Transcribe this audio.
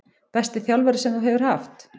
Besti þjálfari sem þú hefur haft?